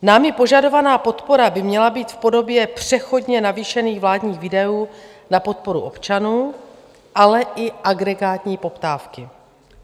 Námi požadovaná podpora by měla být v podobě přechodně navýšených vládních výdajů na podporu občanů, ale i agregátní poptávky.